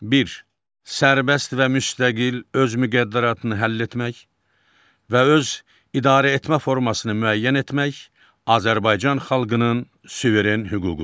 Bir, Sərbəst və müstəqil öz müqəddəratını həll etmək və öz idarəetmə formasını müəyyən etmək Azərbaycan xalqının suveren hüququdur.